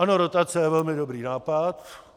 Ano, rotace je velmi dobrý nápad.